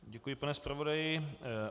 Děkuji, pane zpravodaji.